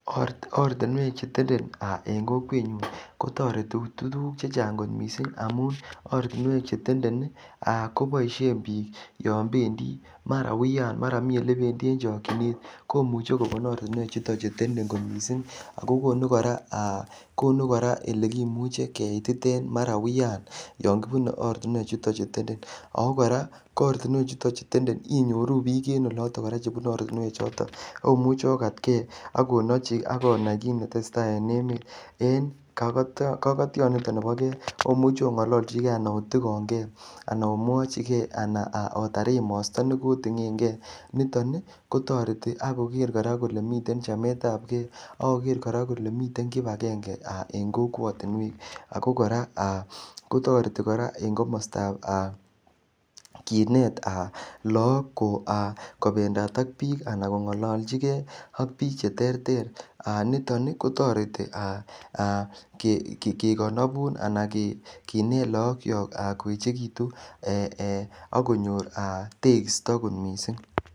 Ortinwek aa chetende en kokwenyun kotiengee tuguk chechang missing' amun Ortinwek chetenden koboishen bik yon bendi mara uiyan maran mi elebendi en chokchinet komuche kobun ortinwechuton chu tenden kot missing' ako konu aa konu elekimuche keititen maran uiyan yon kibune ortinwechuton chu tende oo koraa ko ortinwechuton chu tenden inyoru bik en oloto koraa chebune ortinwechoton imuch okat kee ak onai kit netesee taa en emet en kokotioniton nibo kee omuche ongololjikee anan otikon kee ana omwochikee otar emosto nekotingengee niton kotoreti ak koker koraa kole miten chametab kee ak koker koraa kole miten kipagenge aa en kokwotinwek ako koraa aa kotoreti en komostab aa kinet lagok aa kobendat ak bik anan kongolojikeecak bik cheterter niton ii kotoreti aa kekonobun ana kinet lagokiok koechekitun ee okonyor tekisto.